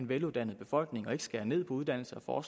veluddannet befolkning og ikke skære ned på uddannelse og